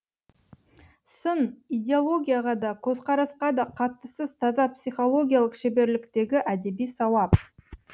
сын идеологияға да көзқарасқа да қатыссыз таза психологиялық шеберліктегі әдеби сауап